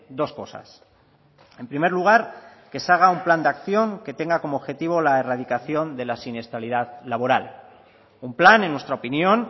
dos cosas en primer lugar que se haga un plan de acción que tenga como objetivo la erradicación de la siniestralidad laboral un plan en nuestra opinión